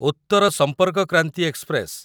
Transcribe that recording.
Uttar Sampark Kranti express